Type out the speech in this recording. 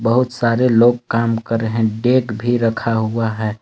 बहुत सारे लोग काम कर रहे हैं भी रखा हुआ है।